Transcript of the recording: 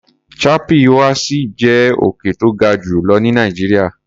Chappal Wassi jẹ́ òkè tó ga jù lọ ní Nàìjíríà.